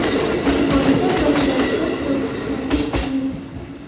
Bu borada asosiy vazifa kuzatuvchilarga yuklanadi.